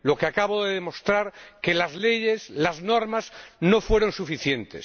Lo que acabo de demostrar es que las leyes, las normas, no fueron suficientes.